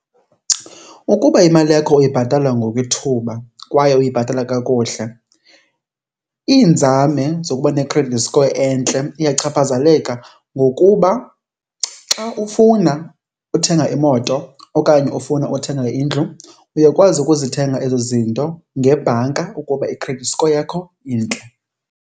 Ukuba imali yakho uyibhatala ngokwethuba kwaye uyibhatala kakuhle, iinzame zokuba ne-credit score entle iyachaphazeleka ngokuba xa ufuna uthenga imoto okanye ufuna uthenga indlu uyakwazi ukuzithenga ezo zinto ngebhanka ukuba i-credit score yakho intle.